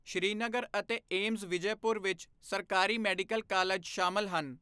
ਸ੍ਰੀਨਗਰ ਅਤੇ ਏਮਜ਼ ਵਿਜੈਪੁਰ ਵਿੱਚ ਸਰਕਾਰੀ ਮੈਡੀਕਲ ਕਾਲਜ ਸ਼ਾਮਲ ਹਨ।